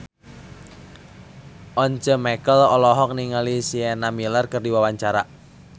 Once Mekel olohok ningali Sienna Miller keur diwawancara